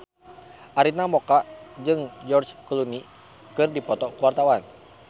Arina Mocca jeung George Clooney keur dipoto ku wartawan